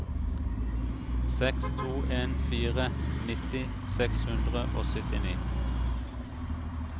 seks to en fire nitti seks hundre og syttini